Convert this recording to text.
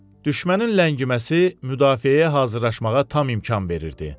Düşmənin ləngiməsi müdafiəyə hazırlaşmağa tam imkan verirdi.